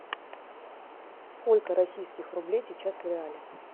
сколько российских рублей сейчас в реале